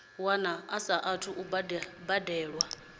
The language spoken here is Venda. wana a saathu u bebiwaho